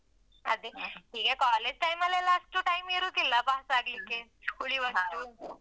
ಅದೇ ಈಗ college time ಲೆಲ್ಲ ಅಷ್ಟು time ಇರುದಿಲ್ಲ pass ಅಗ್ಲಿಕ್ಕೆ ಉಳಿವಷ್ಟು.